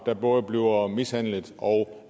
der både bliver mishandlet og